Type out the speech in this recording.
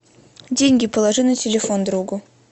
деньги положи на телефон другу